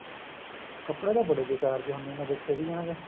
ਕਪੜੇ ਤਾਂ ਬੜੇ ਬਿਕਾਰ ਜਹੇ ਹੁੰਨੇ ਏ ਮੈਂ ਦੇਖਿਆ ਸੀਗਾ ਇਹਨਾ ਦੇ